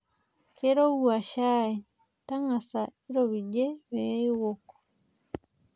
Keirowua shai, tang'asa ropijie pee iwok.